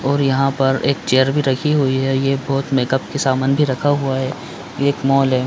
और यहाँ पर एक चेयर भी रखी हुई है ये बहोत मेकअप की समान भी रखा हुआ है ये एक मॉल है।